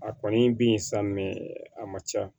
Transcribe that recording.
A kɔni bi yen sa a man ca